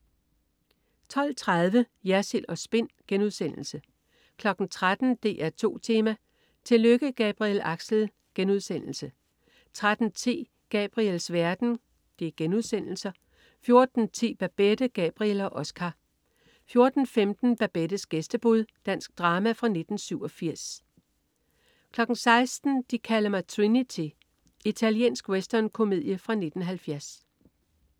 12.30 Jersild & Spin* 13.00 DR2 Tema: Tillykke Gabriel Axel!* 13.10 Gabriels Verden* 14.10 Babette, Gabriel og Oscar* 14.15 Babettes gæstebud. Dansk drama fra 1987* 16.00 De kalder mig Trinity. Italiensk westernkomedie fra 1970